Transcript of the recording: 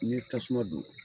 Ɲe tasuma don.